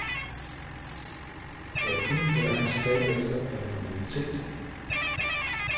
Hvad hun eller han stræber efter, er normalitet.